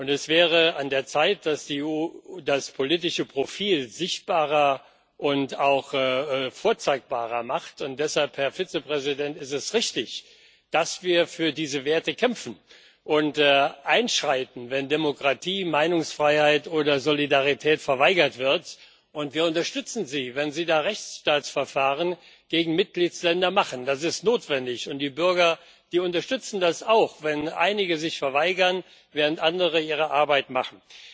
Es wäre an der Zeit, dass die EU das politische Profil sichtbarer und auch vorzeigbarer macht. Und deshalb, Herr Vizepräsident, ist es richtig, dass wir für diese Werte kämpfen und einschreiten, wenn Demokratie, Meinungsfreiheit oder Solidarität verweigert wird. Wir unterstützen Sie, wenn Sie Rechtsstaatsverfahren gegen Mitgliedsländer einleiten das ist notwendig, und die Bürger unterstützen das auch, wenn einige sich verweigern, während andere ihre Arbeit machen.